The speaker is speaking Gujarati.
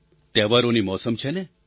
તહેવારોની મૌસમ છે ને